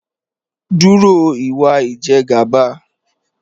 Dúró ìwà Ìjẹ̀gàba